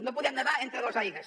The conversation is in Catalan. no podem nedar entre dues aigües